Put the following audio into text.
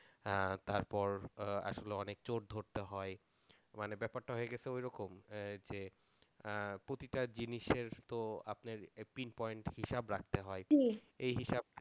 আহ তারপর আসলে অনেক চোর ধরতে হয় মানে ব্যাপারটা হয়ে গেছে ওইরকম যে প্রতিটা জিনিসের তো আপনার pin point হিসাব রাখতে হয়